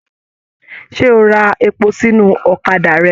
Ṣe o ra èpò sínú ọ̀kàdà rẹ?